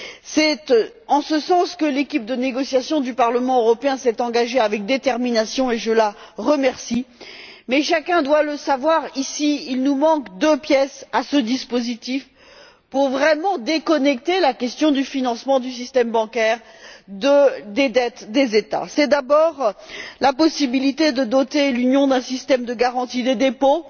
C'est dans cette voie que l'équipe de négociation du Parlement européen s'est engagée avec détermination, et je l'en remercie, mais chacun doit le savoir, ici, il nous manque deux pièces à ce dispositif pour vraiment déconnecter la question du financement du système bancaire des dettes des États. C'est d'abord la possibilité de doter l'Union d'un système de garantie des dépôts